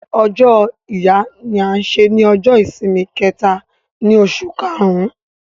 Ọ̀jọ́ Ìyà ní à ṣè ní Ọ̀jọ́-ìṣìmì kẹta tì Òṣù kàrún